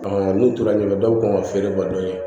n'u tora ɲɔgɔn na dɔw kan ka feere bɔ dɔɔni kɛ